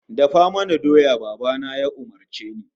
"Dafa mana doya", Baba na ya umurce ni.